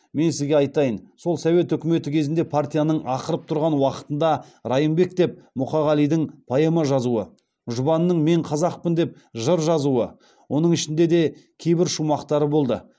мен сізге айтайын сол совет үкіметі кезінде партияның ақырып тұрған уақытында райымбек деп мұқағалидың поэма жазуы жұбанның мен қазақпын деп жыр жазуы оның ішінде де кейбір шумақтары болды